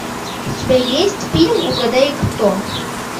у тебя есть фильм угадай кто